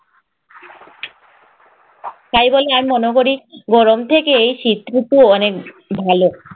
তাই বলে আমি মনে করি, গরম থেকে শীত ঋতু অনেক ভালো।